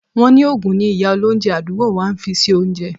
Wọ́n ni òògùn ni ìyá olóunjẹ àdúgbò wa ń fi sí oúnjẹ